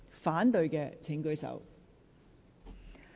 反對的請舉手。